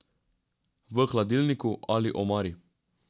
V hladilniku ali omari.